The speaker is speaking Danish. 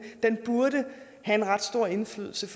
burde have en ret stor indflydelse